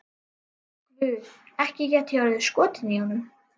Guð, ekki gæti ég orðið skotin í honum.